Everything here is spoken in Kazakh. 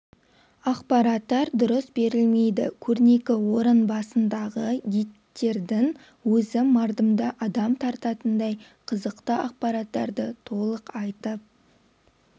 ақпараттар дұрыс берілмейді көрнекі орын басындағы гидтердің өзі мардымды адам тартатындай қызықты ақпараттарды толық айтып